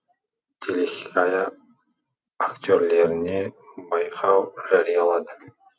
телехикая актерлеріне байқау жариялады